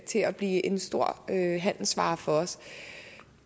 til at blive en stor handelsvare for os